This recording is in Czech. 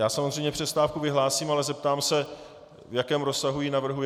Já samozřejmě přestávku vyhlásím, ale zeptám se, v jakém rozsahu ji navrhujete?